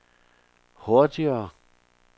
hurtigere